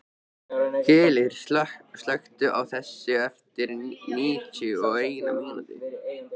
Gellir, slökktu á þessu eftir níutíu og eina mínútur.